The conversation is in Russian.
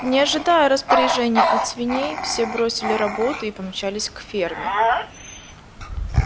не ожидая распоряжений от свиней все бросили работу и помчались к ферме